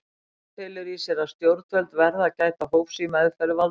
Reglan felur í sér að stjórnvöld verða að gæta hófs í meðferð valds síns.